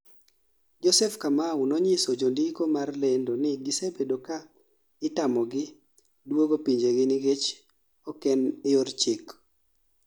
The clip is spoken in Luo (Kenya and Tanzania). Joseph Kamau no nyiso jondiko mar lendo ni gisebedo kaa itamogi duogo pinjegi nikech oken yor chik